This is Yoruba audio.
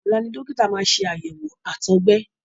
Ọ̀la ni dọ́kítà máa ṣe àyẹ̀wò àtọgbẹ.